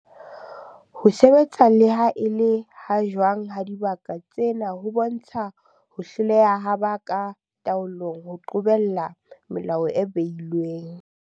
Ho sebetsa le ha e le ha jwang ha dibaka tsena ho bontsha ho hloleha ha ba ka taolong ho qobella melao e behilweng.